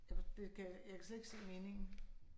Jeg for det kan jeg kan slet ikke se meningen